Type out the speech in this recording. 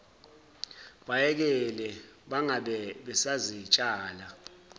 bayekele bangabe basazitshala